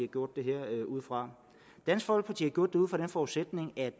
gjort det her ud fra dansk folkeparti har gjort det ud fra den forudsætning at